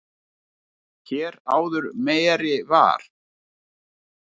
Mar hér áður meri var.